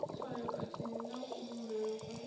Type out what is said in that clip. tswayo khathihi na kuvhumbelwe kwa